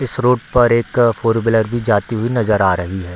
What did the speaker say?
इस रूट पर एक फोर व्हीलर भी जाती हुई नजर आ रही है।